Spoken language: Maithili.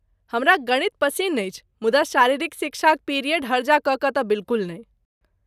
हमरा गणित पसिन्न अछि मुदा शारीरिक शिक्षाक पिरियड हर्जा कऽ कऽ तँ बिलकुल नहि।